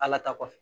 Ala ta kɔfɛ